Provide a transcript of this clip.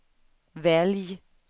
välj